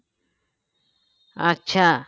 আচ্ছা